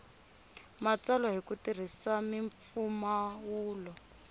matsalwa hi ku tirhisa mimpfumawulo